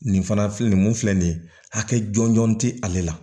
Nin fana filɛ nin ye mun filɛ nin ye hakɛ jɔnjɔn tɛ ale la